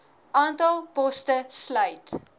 aantal poste sluit